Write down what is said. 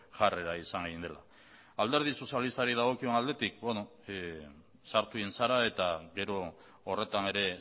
jarrera izan egin dela alderdi sozialistari dagokion aldetik sartu egin zara eta gero horretan ere